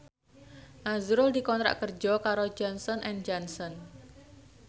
azrul dikontrak kerja karo Johnson and Johnson